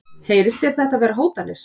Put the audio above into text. Heyrist þér þetta vera hótanir?